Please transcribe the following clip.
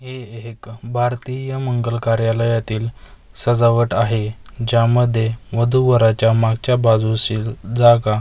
हे हे एक भारतीय मंगल कार्यालयातील सजावट आहे ज्यामध्ये वधू वराच्या मागच्या बाजूशी जागा पूर्ण--